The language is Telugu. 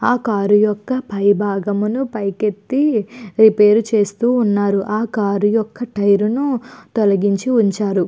ఆ కార్ యొక్క పై భాగ్యమును పైకెత్తి రిపేరు చేస్తూ ఉన్నారు. ఆ కార్ యొక్క టైర్ ను తొలగించి ఉంచారు.